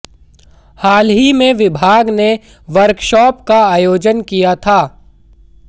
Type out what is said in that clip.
हाल ही में विभाग ने वर्कशॉप का आयोजन किया था